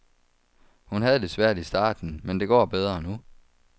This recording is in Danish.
Hun havde det svært i starten, men det går bedre nu.